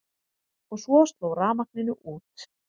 Og svo sló rafmagninu út.